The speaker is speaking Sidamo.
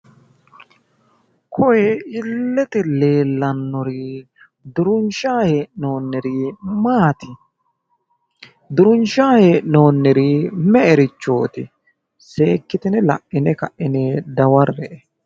Kuri illete leellannori duurinshanni hee'noonirichi maati? Duurinshanni hee'noonirichi me'erichooti? Seekkitine la'ine ka'ine dawarre''e.